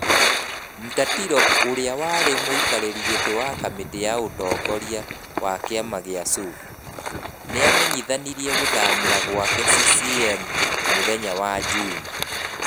Mtatiro ũria warĩ mũikarĩri gĩtĩ wa kamĩtĩ ya ũtongoria wa kĩama kĩa CUF, nĩamenyithanirie gũthamira gwake CCM mũthenya wa Njuuma.